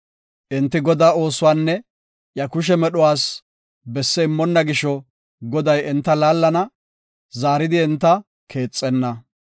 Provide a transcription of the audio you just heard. Enti Godaa oosuwanne iya kushe medhuwas, besse immonna gisho Goday enta laallana; zaaridi enta keexenna.